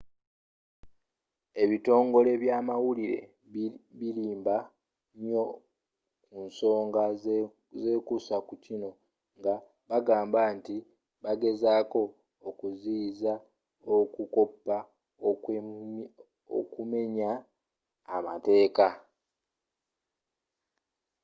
ebitongole bya amawulire birimba nyo ku nsooga ezekuusa ku kino nga bagamba nti bagezaako okuziyiza okukopa okumenya amateeka